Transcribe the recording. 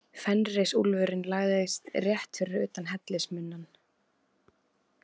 Fenrisúlfurinn lagðist rétt fyrir utan hellismunnann.